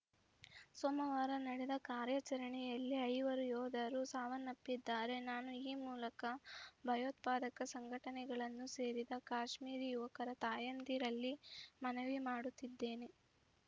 ಸೋಮವಾರ ನಡೆದ ಕಾರ್ಯಾಚರಣೆಯಲ್ಲಿ ಐವರು ಯೋಧರು ಸಾವನ್ನಪ್ಪಿದ್ದಾರೆ ನಾನು ಈ ಮೂಲಕ ಭಯೋತ್ಪಾದಕ ಸಂಘಟನೆಗಳನ್ನು ಸೇರಿದ ಕಾಶ್ಮೀರಿ ಯುವಕರ ತಾಯಂದಿರಲ್ಲಿ ಮನವಿ ಮಾಡುತ್ತಿದ್ದೇನೆ